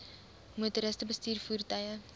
motoriste bestuur voertuie